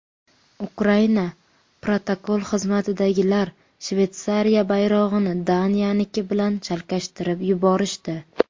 Ukraina protokol xizmatidagilar Shveysariya bayrog‘ini Daniyaniki bilan chalkashtirib yuborishdi.